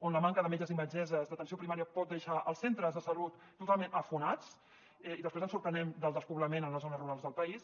on la manca de metges i metgesses d’atenció primària pot deixar els centres de salut totalment afonats i després ens sorprenem del despoblament en les zones rurals del país